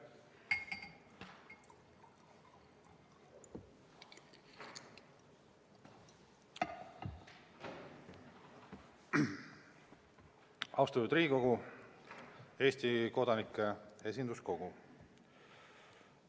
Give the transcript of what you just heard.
Austatud Riigikogu, Eesti kodanike esinduskogu!